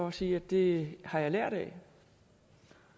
og sige at det har jeg lært af